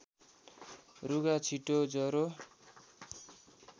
रुघा छिटो ज्वरो